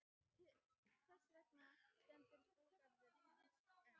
Þess vegna stendur búgarður hans enn.